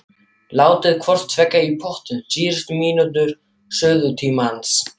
Látið hvort tveggja í pottinn síðustu mínútur suðutímans.